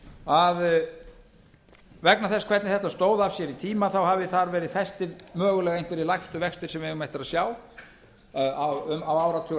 að vegna þess hvernig þetta stóð að sér í tíma þá hafi þar verið festir mögulega einhverjir lægstu vextir sem við eigum eftir að sjá á áratuga